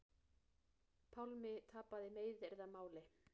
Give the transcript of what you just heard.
Pálmi tapaði meiðyrðamáli